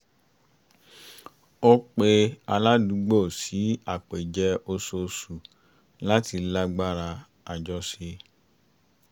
ó ó pè aládùúgbò sí àpèjẹ oṣooṣu láti lágbára àjọṣe